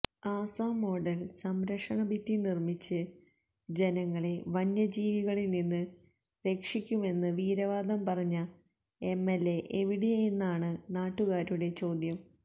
Assam model സംരക്ഷണഭിത്തി നിര്മ്മിച്ച് ജനങ്ങളെ വന്യജീവികളില് നിന്ന് രക്ഷിക്കുമെന്ന് വീരവാദം പറഞ്ഞ എംഎല്എ എവിടെയെന്നാണ് നാട്ടുകാരുടെ ചോദ്യം